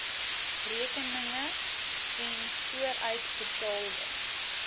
rekeninge n vooruitbetaalde